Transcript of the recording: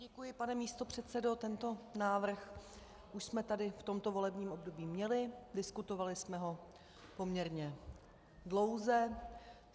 Děkuji, pane místopředsedo, tento návrh už jsme tady v tomto volebním období měli, diskutovali jsme ho poměrně dlouze.